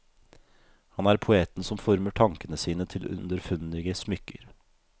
Han er poeten som former tankene sine til underfundige smykker.